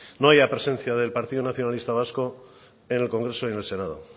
no haya presencia del partido nacionalista vasco en el congreso y en el senado